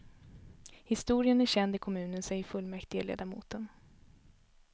Historien är känd i kommunen, säger fullmäktigeledamoten.